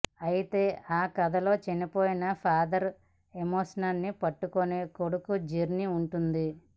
అయితే ఆ కథలో చనిపోయిన ఫాదర్ ఎమోషన్ని పట్టుకొని కొడుకు జర్నీ ఉంటుంది